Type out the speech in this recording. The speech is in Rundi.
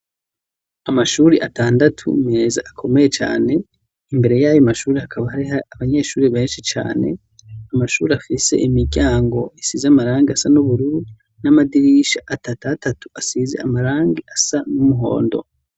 Amashuri atandatu meza akomeye cane, imbere y'ayo mashuri hakaba hari abanyeshuri benshi cane, amashuri afise imiryango isize amarangi asa n'ubururu n'amadirisha atatatatu asize amarangi asa n'umuhondo.